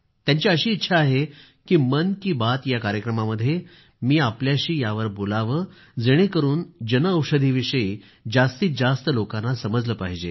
त्यांची अशी इच्छा आहे की मन की बात या कार्यक्रमामध्ये मी आपल्याशी यावर बोलावं जेणेकरून जनऔषधीविषयी जास्तीत जास्त लोकांना माहिती समजली पाहिजे